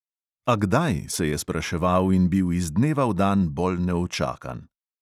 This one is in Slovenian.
A kdaj, se je spraševal in bil iz dneva v dan bolj neučakan.